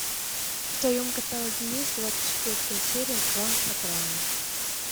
в твоем каталоге есть двадцать четвертая серия клан сопрано